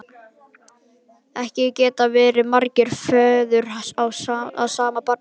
Ekki geta verið margir feður að sama barni!